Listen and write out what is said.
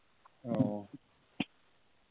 ওহ